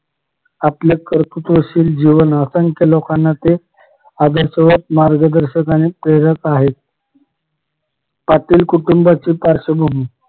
आपले कर्तृत्वशील जीवन असंख्य लोकांना ते आदर्शवत मार्गदर्शक आणि प्रेरक आहे पाटील कुटुंबाची पार्शवभूमी